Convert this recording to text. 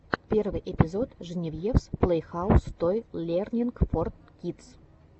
первый эпизод женевьевс плэйхаус той лернинг фор кидс